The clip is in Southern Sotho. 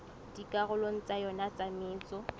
dikarolong tsa yona tsa metso